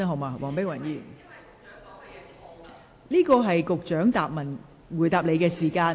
黃議員，這是局長作答的時間。